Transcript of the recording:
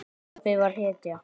Pabbi var hetja.